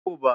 Hikuva